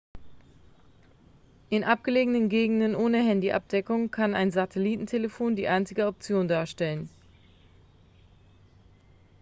in abgelegenen gegenden ohne handy-abdeckung kann ein satellitentelefon die einzige option darstellen